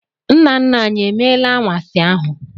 Nna nna anyị e meela anwansi ahụ?